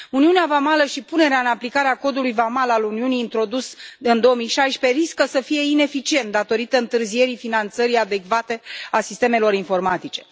Uniunea vamală și punerea în aplicare a Codului vamal al Uniunii introdus în 2016 riscă să fie ineficiente datorită întârzierii finanțării adecvate a sistemelor informatice.